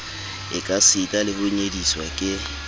ekasita le ho nyediswa ke